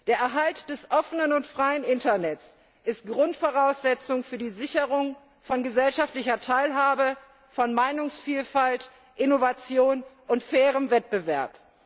Der Erhalt des offenen und freien Internets ist Grundvoraussetzung für die Sicherung von gesellschaftlicher Teilhabe, von Meinungsvielfalt, Innovation und fairem Wettbewerb.